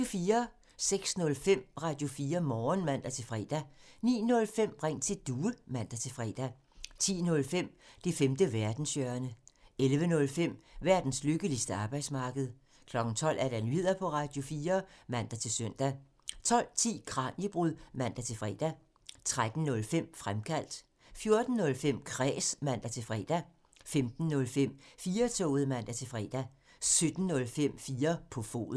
06:05: Radio4 Morgen (man-fre) 09:05: Ring til Due (man-fre) 10:05: Det femte verdenshjørne 11:05: Verdens lykkeligste arbejdsmarked 12:00: Nyheder på Radio4 (man-søn) 12:10: Kraniebrud (man-fre) 13:05: Fremkaldt 14:05: Kræs (man-fre) 15:05: 4-toget (man-fre) 17:05: 4 på foden